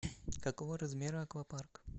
какого размера аквапарк